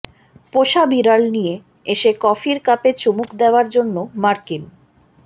পোষা বিড়াল নিয়ে এসে কফির কাপে চুমুক দেওয়ার জন্য মার্কিন